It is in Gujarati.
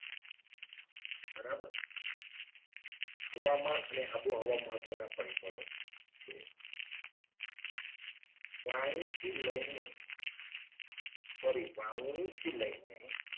બરાબર હવામાન અને આબોહવા મહત્વના પરિબળો છે. વાણીથી લઈને sorry વાવણીથી લઈને